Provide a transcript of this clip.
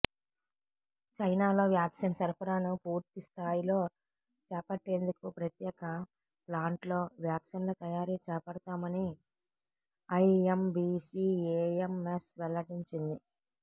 చైనాలో వ్యాక్సిన్ సరఫరాను పూర్తిస్ధాయిలో చేపట్టేందుకు ప్రత్యేక ప్లాంట్లో వ్యాక్సిన్ల తయారీ చేపడతామని ఐఎంబీసీఏఎంఎస్ వెల్లడించింది